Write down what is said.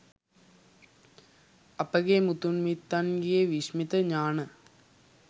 අපගේ මුතුන්මිත්තන්ගේ විශ්මිත ඤාණ